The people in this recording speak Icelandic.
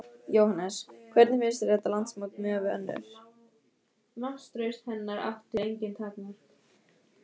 Jóhannes: Hvernig finnst þér þetta landsmót miðað við önnur?